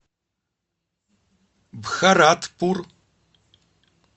бхаратпур